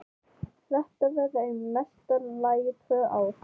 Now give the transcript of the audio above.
Þetta verða í mesta lagi tvö ár.